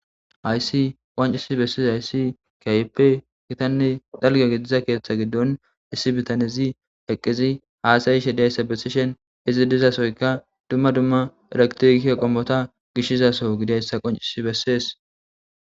Haysi qoncisi bessis hayssi kayeppe gitanne dhalge gidiza keeththa giddon issi bitanezi heqqizi haasayishe dayssa bessishen izi dizasoyka dumma dumma eraktike qommota gishizaso gideyssa qoncisi bessees.